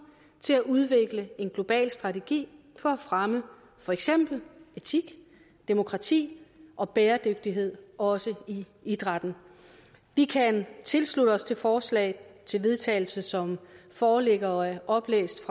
til at udvikle en global strategi for at fremme for eksempel etik demokrati og bæredygtighed også i idrætten vi kan tilslutte os det forslag til vedtagelse som foreligger og er oplæst